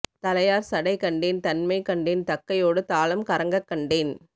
தழையார் சடை கண்டேன் தன்மை கண்டேன் தக்கையொடு தாளம் கறங்கக் கண்டேன்